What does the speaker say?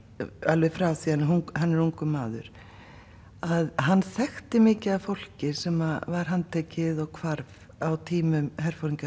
alveg frá því hann hann er ungur maður hann þekkti mikið af fólki sem var handtekið og hvarf á tímum